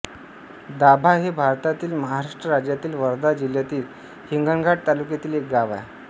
दाभा हे भारतातील महाराष्ट्र राज्यातील वर्धा जिल्ह्यातील हिंगणघाट तालुक्यातील एक गाव आहे